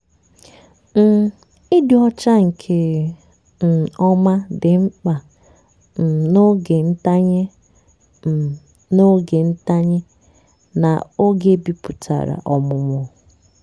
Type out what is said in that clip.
um ịdị ọcha nke um ọma dị mkpa um n'oge ntanye um n'oge ntanye na-oge biputere ọmụmụ.